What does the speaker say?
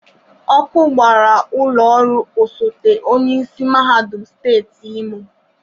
Ọkụ gbara ụlọ ọrụ osote onyeisi mahadum steeti Imo.